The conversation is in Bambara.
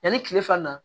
Yanni tile fana na